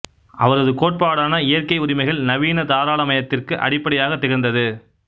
அவரது கோட்பாடான இயற்கை உரிமைகள் நவீன தாராளமயத்திற்கு அடிப்படையாக திகழ்ந்தது